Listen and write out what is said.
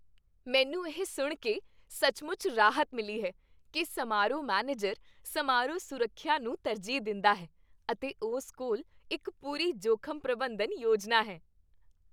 ਮੈਨੂੰ ਇਹ ਸੁਣ ਕੇ ਸੱਚਮੁੱਚ ਰਾਹਤ ਮਿਲੀ ਹੈ ਕਿ ਸਮਾਰੋਹ ਮੈਨੇਜਰ ਸਮਾਰੋਹ ਸੁਰੱਖਿਆ ਨੂੰ ਤਰਜੀਹ ਦਿੰਦਾ ਹੈ ਅਤੇ ਉਸ ਕੋਲ ਇੱਕ ਪੂਰੀ ਜੋਖ਼ਮ ਪ੍ਰਬੰਧਨ ਯੋਜਨਾ ਹੈ।